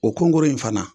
O kunko in fana